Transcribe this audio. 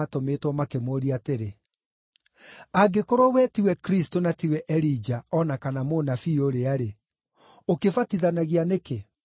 makĩmũũria atĩrĩ, “Angĩkorwo we tiwe Kristũ, na tiwe Elija, o na kana Mũnabii ũrĩa-rĩ, ũkĩbatithanagia nĩkĩ?”